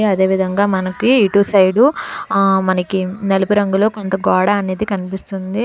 అదే విధంగా మనకి ఇటు సైడు ఆ మనకి నలుపు రంగులో కొంత గోడ అనేది కనిపిస్తుంది.